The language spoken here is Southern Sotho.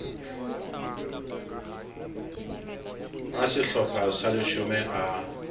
a sehlopha sa leshome a